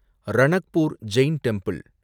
Ranakpur Jain temple